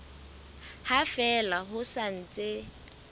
ha fela ho sa ntse